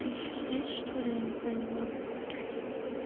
ты ещё здесь что-ли я не поняла